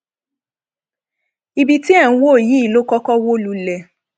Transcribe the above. ibi tí ẹ ń wò yìí ló kọkọ wó lulẹ